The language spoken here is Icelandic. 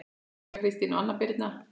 Inga Kristín og Anna Birna